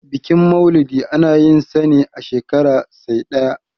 bikin maulidi ana yinsa ne a shekara sai ɗaya